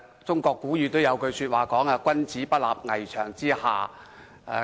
中國古語有云："君子不立危牆之下。